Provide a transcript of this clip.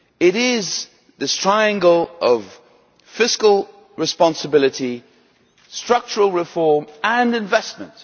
It is the triangle of fiscal responsibility, structural reform and investment.